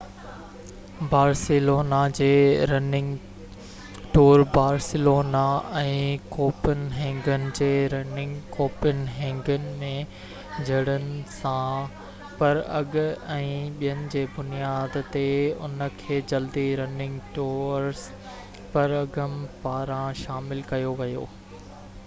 Barcelona جي running tour Barcelona ۽ Copenhagen جي running Copenhagen ۾ جڙن سان پراگ ۽ ٻين جي بنياد تي ان کي جلدي رننگ ٽورس پراگ پاران شامل ڪيو ويو